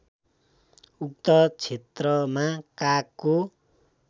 उक्त क्षेत्रमा कागको